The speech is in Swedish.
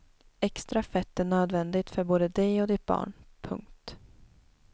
Extra fett är nödvändigt för både dig och ditt barn. punkt